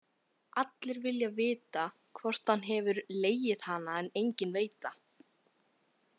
Allir vilja vita hvort hann hefur legið hana en enginn veit það.